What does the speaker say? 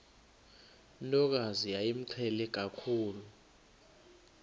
ntokazi yayimqhele kakhulu